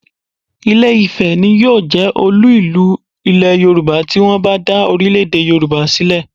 Ìlé-ifẹ̀ ni yóò jẹ́ olú ìlú Ilẹ̀ Yorùbá tí wọ́n bá dá orílẹ̀-èdè Yorùbá sílẹ̀